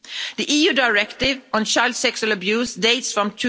The EU directive on child sexual abuse dates from